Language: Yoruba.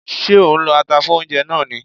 Ṣé ò ń lọ ata fún oúnjẹ náà ni?